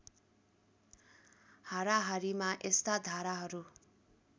हाराहारीमा यस्ता धाराहरू